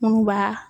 Munnu b'a